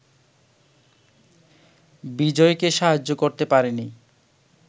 বিজয়কে সাহায্য করতে পারেনি